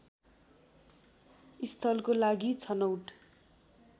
स्थलको लागि छनौट